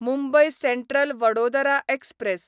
Mumbai central Vadodara express